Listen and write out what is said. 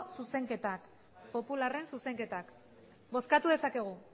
zuzenketak popularren zuzenketak bozkatu dezakegu